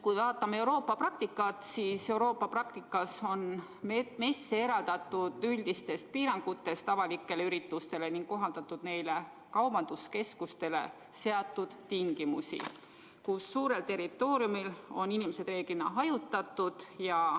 Kui vaatame Euroopa praktikat, siis seal on messid eraldatud teistest avalikest üritustes ning neile on kohaldatud kaubanduskeskustele seatud tingimusi, mille järgi suurel territooriumil võivad inimesed koos olla, kui nad on hajutatud.